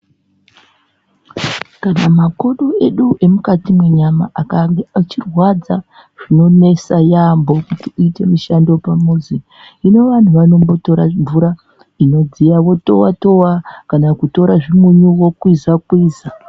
Kana makodo edu emukati mwenyama akange echirwadza zvinonesa yaambo kuti uyite mishando pamuzi hino vandu vanombotora mvura inodziya votowa towa kana kutora zvimunyu wokwiza kwiza.